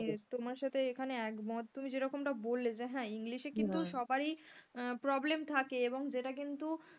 আমি তোমার সাথে এখানে একমত তুমি যে রকমটা বললে যে হ্যাঁ english কিন্তু সবারই problem থাকে এবং যেটা কিন্তু,